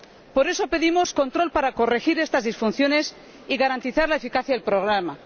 Por eso, pedimos control para corregir estas disfunciones y garantizar la eficacia del programa.